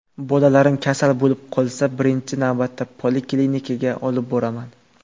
Bolalarim kasal bo‘lib qolsa, birinchi navbatda poliklinikaga olib boraman.